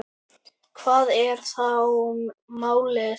Hvað er þá málið?